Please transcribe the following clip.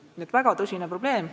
Nii et väga tõsine probleem.